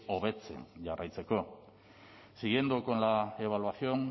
hobetzen jarraitzeko siguiendo con la evaluación